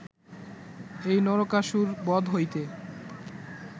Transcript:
এই নরকাসুরবধ হইতে